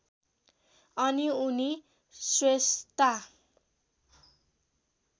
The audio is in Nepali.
अनि उनी स्रेस्ता